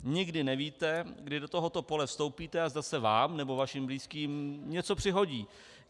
Nikdy nevíte, kdy do tohoto pole vstoupíte a zda se vám nebo vašim blízkým něco přihodí.